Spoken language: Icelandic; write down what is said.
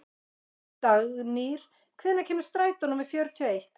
Dagnýr, hvenær kemur strætó númer fjörutíu og eitt?